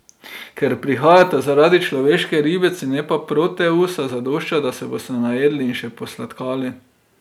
Ker prihajate zaradi človeške ribice, ne pa Proteusa, zadošča, da se boste najedli in še posladkali.